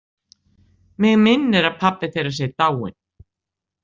Mig minnir að pabbi þeirra sé dáinn.